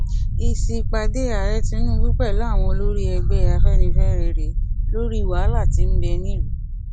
èsì ìpàdé ààrẹ tinubu pẹlú àwọn olórí ẹgbẹ afẹnifẹre rèé lórí wàhálà tí ń bẹ ní lùú